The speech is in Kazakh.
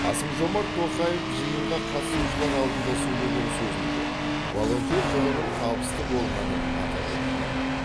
қасым жомарт тоқаев жиынға қатысушылар алдында сөйлеген сөзінде волонтер жылының табысты болғанын атап өтті